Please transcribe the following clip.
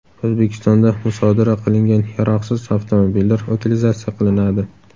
O‘zbekistonda musodara qilingan yaroqsiz avtomobillar utilizatsiya qilinadi.